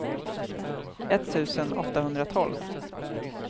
etttusen åttahundratolv